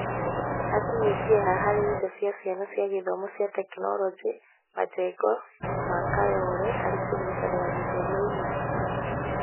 Hakinyĩtie-ha harĩ indo cia ciana cia gĩthomo cia Tekinoronjĩ majengo ma Kayole harĩ kũnyitanĩra gĩthomo-inĩ ?